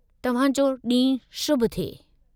तव्हां जो ॾींहुं शुभ थिए।